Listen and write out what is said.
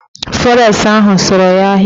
Fọres ahụ sụrụ ya ahịa